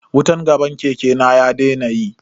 Wutan gaban keke na ya daina yi.